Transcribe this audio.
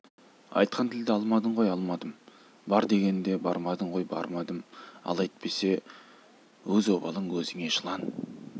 айтқан тілді алмадың ғой алмадым бар дегенде бармадың ғой бармадым ал әйтпесе өз обалың өзіңе жылан